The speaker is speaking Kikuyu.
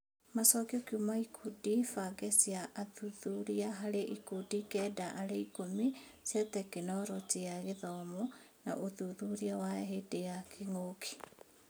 Macokio kuuma ikundi bange cia athuthuria harĩ ikundi kenda harĩ ikũmi cia Tekinoronjĩ ya Gĩthomo na ũthuthuria wa hĩndĩ ya kĩngũki.